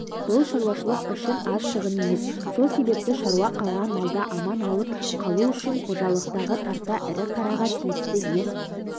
бұл шаруашылық үшін аз шығын емес сол себепті шаруа қалған малды аман алып қалу үшін қожалықтағы тарта ірі қараға тиісті ем